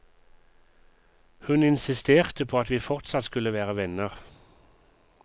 Hun insisterte på at vi fortsatt skulle være venner.